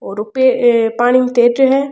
और उपे पानी में तेर रो है।